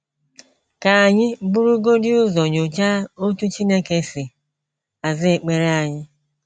Ka anyị burugodị ụzọ nyochaa otú Chineke si aza ekpere anyị.